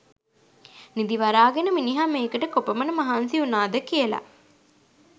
නිදි වරාගෙන මිනිහා මේකට කොපමණ මහන්සි වුණාද කියල.